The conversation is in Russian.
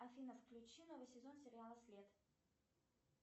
афина включи новый сезон сериала след